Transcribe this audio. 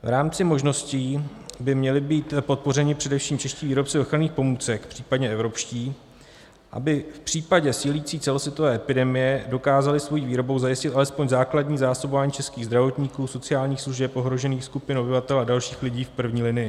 V rámci možností by měli být podpořeni především čeští výrobci ochranných pomůcek, případně evropští, aby v případě sílící celosvětové epidemie dokázali svou výrobou zajistit alespoň základní zásobování českých zdravotníků, sociálních služeb, ohrožených skupin obyvatel a dalších lidí v první linii.